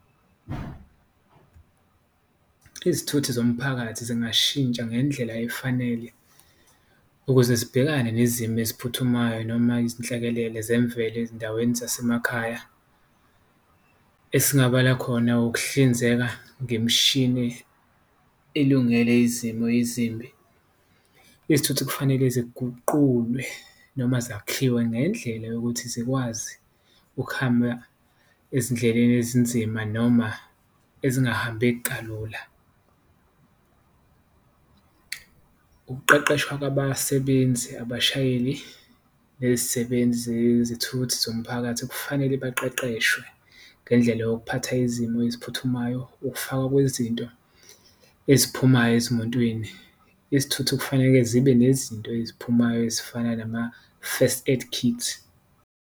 Izithuthi zomphakathi zingashintsha ngendlela efanele ukuze zibhekane nezimo eziphuthumayo, noma nezinhlekelele zemvelo ezindaweni zasemakhaya esingabala khona ukuhlinzeka ngemishini ilungele izimo ezimbi. Izithuthi kufanele eziguqulwe noma zakhiwe ngendlela yokuthi zikwazi ukuhamba ezindleleni ezinzima noma ezingahambeki kalula, ukuqeqeshwa kwabasebenzi, abashayeli nezisebenzi, zezithuthi zomphakathi. Kufanele baqeqeshwe ngendlela yokuphatha izimo eziphuthumayo, ukufakwa kwezinto eziphumayo ezimotweni, izithuthi kufanele zibe nezinto eziphumayo ezifana nama-first aid kits.